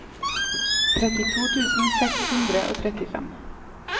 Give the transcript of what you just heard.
trettito tusen seks hundre og trettifem